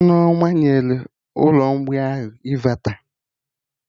Nneoma nyere ụlọ mgbei ahụ ịnvata